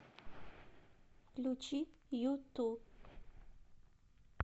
включи юту